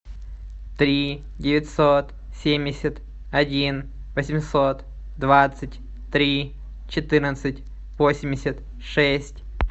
три девятьсот семьдесят один восемьсот двадцать три четырнадцать восемьдесят шесть